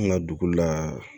An ka dugu la